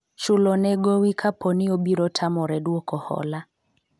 chulo ne gowi kaponi obiro tamore dwoko hola